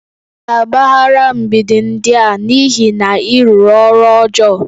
Ị ga-agbagharị mgbidi ndị a n'ihi na ị rụrụ ọrụ ọjọọ